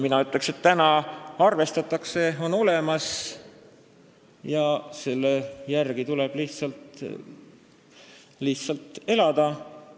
Mina ütleks, et ka täna arvestatakse KOKS-iga ja seal olemasolevate regulatsioonidega ning nende järgi tuleb lihtsalt elada või hakata rohkem elama.